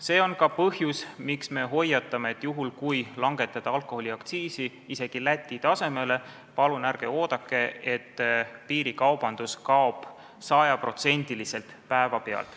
See on ka põhjus, miks me hoiatame, et kui alkoholiaktsiis isegi langetatakse Läti tasemele, siis palun ärge oodake, et piirikaubandus kaob sajaprotsendiliselt päeva pealt.